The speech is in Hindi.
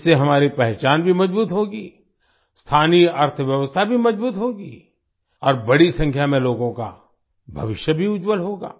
इससे हमारी पहचान भी मजबूत होगी स्थानीय अर्थव्यवस्था भी मजबूत होगी और बड़ी संख्या में लोगों का भविष्य भी उज्जवल होगा